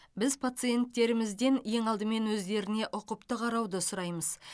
біз пациенттерімізден ең алдымен өздеріне ұқыпты қарауды сұраймыз